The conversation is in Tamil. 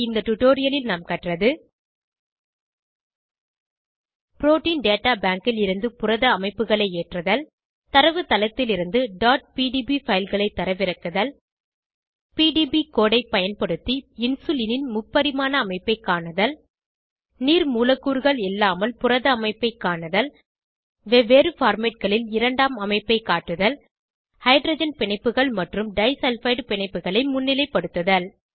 இந்த டுடோரியலில் நாம் கற்றது புரோட்டீன் டேட்டா பேங்க் லிருந்து புரத அமைப்புகளை ஏற்றுதல் தரவுத்தளத்திலிருந்து pdb fileகளை தரவிறக்குதல் பிடிபி கோடு ஐ பயன்படுத்தி இன்சுலினின் முப்பரிமாண அமைப்பை காணுதல் நீர் மூலக்கூறுகள் இல்லாமல் புரத அமைப்பை காணுதல் வெவ்வேறு formatகளில் இரண்டாம் அமைப்பை காட்டுதல் ஹைட்ரஜன் பிணைப்புகள் மற்றும் டைசல்பைடு பிணைப்புகளை முன்னிலைப்படுத்துதல்